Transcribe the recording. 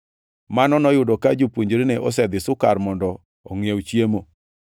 (Mano noyudo ka jopuonjrene osedhi Sukar mondo ongʼiew chiemo.)